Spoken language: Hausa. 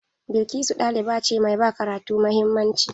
Blkisu ɗaliba ce mai ba karatu mahimmanci.